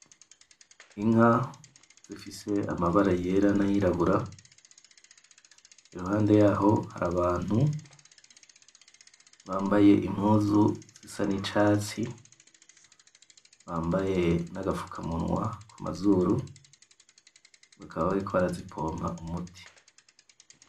Inka zifise amabara yera na yirabura. iruhande yaho hari abantu bambaye impuzu zisa ni catsi bambaye na agapfukamunwa ku mazuru bakaba bariko bazipompa umuti .